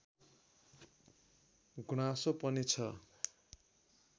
गुनासो पनि छ